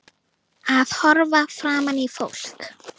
Að horfa framan í fólk.